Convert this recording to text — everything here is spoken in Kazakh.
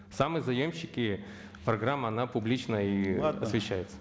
сами заемщики программа она публична и освещается